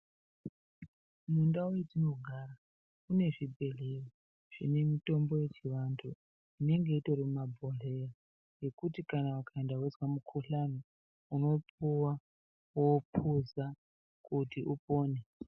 Mundau metinogara kune zvibhedhleya zvine mitombo yechivantu inenge itori mumabhodhleya yekuti ukaenda weizwa mukuhlani, unopuwa wouphuza kuti upone.